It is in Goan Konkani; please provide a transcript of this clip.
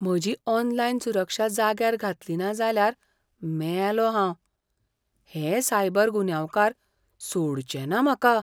म्हजी ऑनलायन सुरक्षा जाग्यार घातली ना जाल्यार मेलों हांव. हे सायबर गुन्यांवकार सोडचे ना म्हाका.